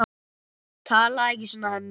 Talaðu ekki svona, Hemmi!